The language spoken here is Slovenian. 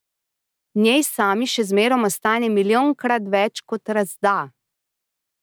Njej sami še zmerom ostane milijonkrat več, kot razda.